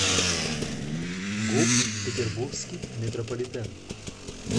гуп петербургский метрополитен